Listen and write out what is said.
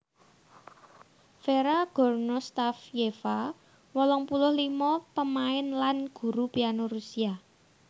Vera Gornostayeva wolung puluh limo pamain lan guru piano Rusia